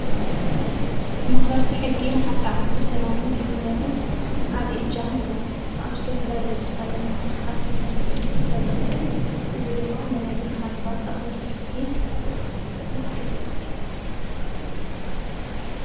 መኽበርቲ ሕጊ ንሓንቲ ዓዲ ሰላምን ድሕንነትን ዓብዪ እጃም ኣለዎም። ኣብ ዝተፈላለዩ ቦታ ድማ ቡዙሓት መኽበርቲ ሕግታት ኣለዉ። እዚ ድማ ንናይ ብርሃን ባንክ ኣኽበርቲ ሕጊ ይዉክል።